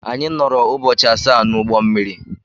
Anyị nọọrọ ụbọchị asaa n'ụgbọ mmiri.